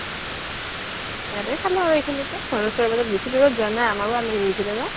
ইয়াতে চালো আৰু এইখিনিতে আমাৰ ওচৰত বেচি দুৰত যুৱা নাই আমাৰও আলহি আহিছিলে ন